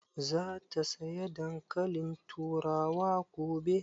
Za ta saya dankalin turawa gobe?